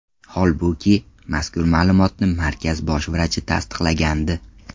Holbuki, mazkur ma’lumotni markaz bosh vrachi tasdiqlagandi.